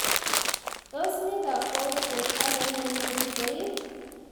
Tos mi kakwautiet age ne imuchi koib?